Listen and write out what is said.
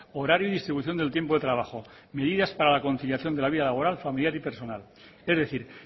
horario y distribución del tiempo de trabajo medidas para la conciliación de la vida laboral familiar y personal es decir